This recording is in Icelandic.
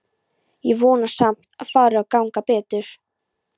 Ég vona samt að fari að ganga betur.